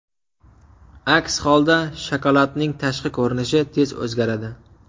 Aks holda shokoladning tashqi ko‘rinishi tez o‘zgaradi.